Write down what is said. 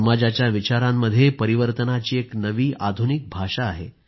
समाजाच्या विचारांमध्ये परिवर्तनाची एक नवी आधुनिक भाषा आहे